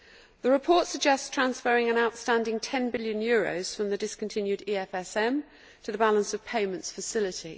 The report suggests transferring an outstanding EUR 10 billion from the discontinued EFSM to the balance of payments facility.